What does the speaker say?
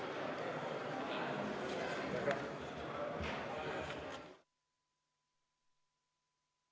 Istungi lõpp kell 20.37.